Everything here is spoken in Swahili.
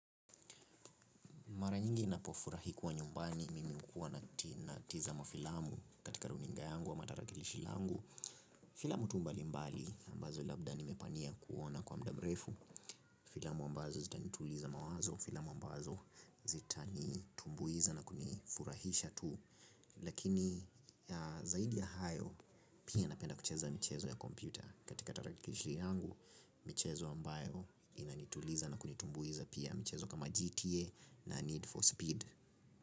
Mara nyingi ninapofurahi kuwa nyumbani, mimi huwa natazama filamu katika runinga yangu ama tarakilishi yangu. Filamu tu mbalimbali ambazo labda nimepania kuona kwa muda mrefu. Filamu ambazo zitanituliza mawazo, filamu ambazo zitanitumbuiza na kunifurahisha tu. Lakini zaidi ya hayo, pia napenda kucheza michezo ya kompyuta. Katika tarakilishi yangu, michezo ambayo inanituliza na kunitumbuiza, pia michezo kama GTA na Need for Speed.